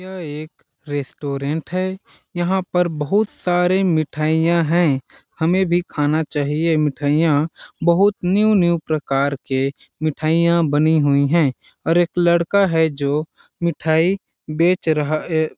यह एक रेस्टोरेंट है यहाँ पर बहुत सारे मिठाईयां है हमें भी खाना चाहिए मिठाईयां बहुत न्यू न्यू प्रकार के मिठाइयां बनी हुई है और एक लड़का है जो मिठाई बेच रहा ऐ ।